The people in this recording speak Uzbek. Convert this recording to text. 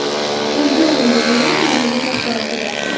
qo‘lga olindi”, deyiladi vazirlik axborotida.